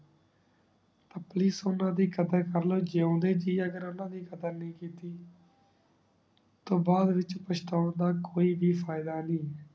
ਆਪਣੀ ਸੁਣਦਾ ਦੀ ਕਾਦਰ ਕਰ ਲੋ ਜਿਓੰਦੇ ਜੀ ਅਗਰ ਓਨਾ ਦੀ ਕਾਦਰ ਨਾਈ ਕੀਤੀ ਤਾ ਬਾਦ ਵਿਚ ਪਛਤਾਂਦਾ ਦਾ ਕੋਈ ਵੀ ਫਾਯਦਾ ਨਾਈ